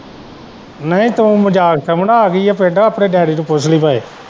ਨਹੀਂ ਤੂੰ ਮਜਾਕ ਸਮਝਦਾ ਆ ਗਈ ਹੈ ਪਿੰਡ ਆਪਣੇ ਡੈਡੀ ਨੂੰ ਪੁੱਛ ਲਈ ਭਾਵੇਂ।